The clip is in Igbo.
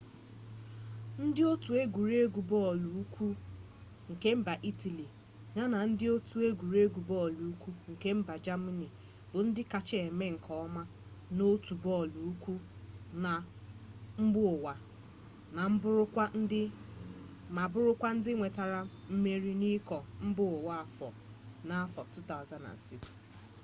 ndị otu egwuregwu bọọlụ ukwu nke mba itali ya na ndị otu egwuregwu bọọlụ ukw nke mba jamani bu ndị kacha eme nke ọma n'otu bọọlụ ukwu na mbaụwa ma bụrụkwa ndị nwetara mmeri n'iko mbaụwa nke afo 2006